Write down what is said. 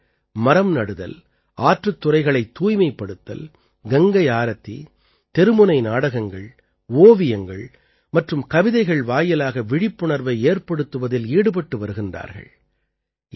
இவர்கள் மரம் நடுதல் ஆற்றுத் துறைகளைத் தூய்மைப்படுத்தல் கங்கை ஆரத்தி தெருமுனை நாடகங்கள் ஓவியங்கள் மற்றும் கவிதைகள் வாயிலாக விழிப்புணர்வை ஏற்படுத்துவதில் ஈடுபட்டு வருகிறார்கள்